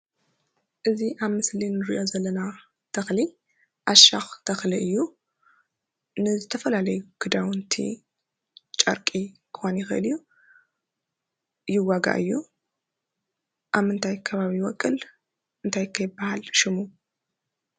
እዚ ኣብ ምስሊ እንሪኦ ዘለና ተኽሊ ዓሻክ ተክሊ እዩ። ንዝተፈላለዩ ክዳውንቲ ፣ጨርቂ ክከውን ይኽእል እዩ። ይዋጋእ እዩ። ኣብ ምንታይ ከባቢ ይበቁል? እንታይ ኸ ይበሃል ሽሙ?